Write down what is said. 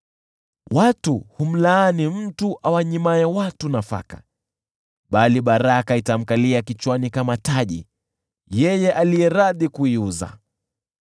Watu humlaani mtu awanyimae watu nafaka, bali baraka itamkalia kichwani kama taji yeye aliye radhi kuiuza.